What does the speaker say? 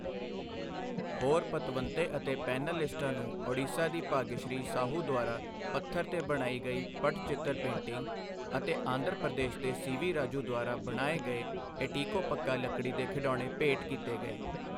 ਹੋਰ ਪਤਵੰਤੇ ਅਤੇ ਪੈਨਲਲਿਸਟਾਂ ਨੂੰ ਉੜੀਸਾ ਦੀ ਭਾਗਯਸ਼੍ਰੀ ਸਾਹੂ ਦੁਆਰਾ ਪੱਥਰ ਤੇ ਬਣਾਈ ਗਈ ਪੱਟਚਿਤਰ ਪੇਂਟਿੰਗ ਅਤੇ ਆਂਧਰਾ ਪ੍ਰਦੇਸ ਦੇ ਸੀ. ਵੀ. ਰਾਜੂ ਦੁਆਰਾ ਬਣਾਏ ਗਏ ਏਟੀਕੋਪੱਕਾ ਲਕੜੀ ਦੇ ਖਿਡੌਣੇ ਭੇਂਟ ਕੀਤੇ ਗਏ।